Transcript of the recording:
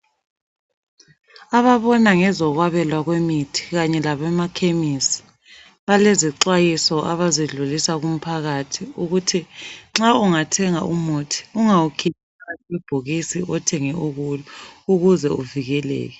Ababona ngezokwabelwa kwemithi kanye labemakhemisi balezixwayiso abazidlulisa kumphakathi ukuthi nxa ungathenga umuthi, ungawukhiphi phakathi kwebhokisi othenge ukulo ukuze uvikeleke.